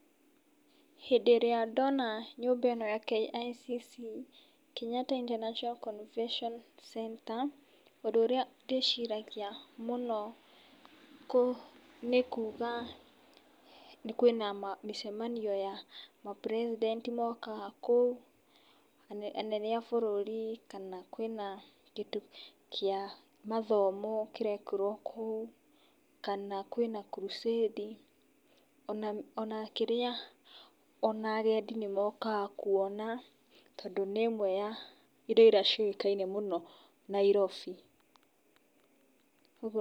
Hĩndĩ ĩrĩa ndona nyũmba ĩno ya KICC, Kenyatta International Convention Centre, ũndũ ũrĩa ndĩciragia mũno nĩ kuga kwĩna mĩcemanio ya ma president mokagaa kũu, anene a bũrũri kana kwĩna kĩndũ kĩa mathomo kĩrekĩrwo kũu, kana kwĩna crusade o na kĩrĩa o na agendi nĩ mokaga kwona tondũ nĩ ĩmwe ya indo iria ciũĩkaine mũno Nairobi .